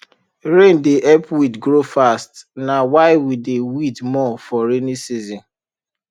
rain dey help weed grow fast na why we dey weed more for rainy season